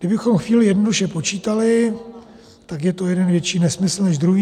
Kdybychom chvíli jednoduše počítali, tak je to jeden větší nesmysl než druhý.